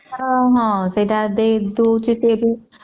ହଁ ହଁ ସେତ ଦଉଛେ ଫେର